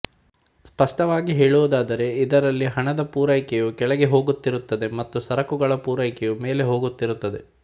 ಸ್ಪಷ್ಟವಾಗಿ ಹೇಳುವುದಾದರೆ ಇದರಲ್ಲಿ ಹಣದ ಪೂರೈಕೆಯು ಕೆಳಗೆ ಹೋಗುತ್ತಿರುತ್ತದೆ ಮತ್ತು ಸರಕುಗಳ ಪೂರೈಕೆಯು ಮೇಲೆ ಹೋಗುತ್ತಿರುತ್ತದೆ